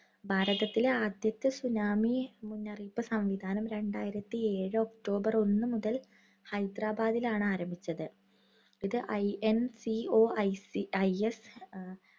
ഭാരതത്തിലെ ആദ്യത്തെ tsunami മുന്നറിയിപ്പ് സംവിധാനം രണ്ടായിരത്തി ഏഴ് ഒക്ടോബർ ഒന്ന് മുതൽ ഹൈദ്രാബാദിലാണ് ആരംഭിച്ചത്. ഇത് INCOICIS